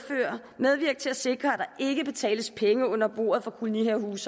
medvirke til at sikre at der ikke betales penge under bordet for kolonihavehuse